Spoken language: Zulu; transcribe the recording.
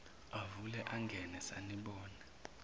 avule angene sanibona